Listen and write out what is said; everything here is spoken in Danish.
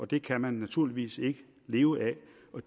det kan man naturligvis ikke leve af